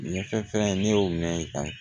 Nin ye fɛn fɛn ye ne y'o mɛn tan